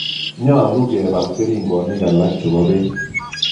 Nyalu kepol keringonik alak che po peek